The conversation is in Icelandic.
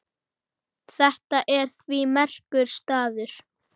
Þetta er því merkur staður.